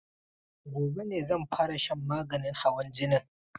Gobe ne zan fara shan maganin hawan jinin